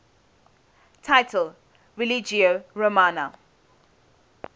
title religio romana